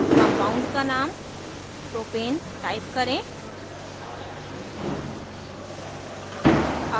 compound का name propane type करें